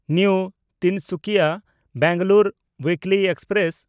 new ᱛᱤᱱᱥᱩᱠᱤᱭᱟ–ᱵᱮᱝᱜᱟᱞᱩᱨᱩ weekly express